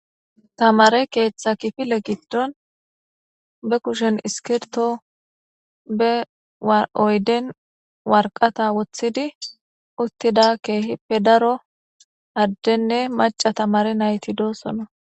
Tamare keeththa kifile giddon be kushen iskirto be oyden warqata woththidi uttida keehippe daro addenne maca tamare nayti doosono.